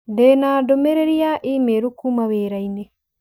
Ndĩ na ndũmĩrĩri ya i-mīrū kuuma wĩra-inĩ